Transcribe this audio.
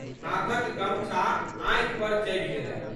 हाथक गमछा आँखि पर चलि गेलनि।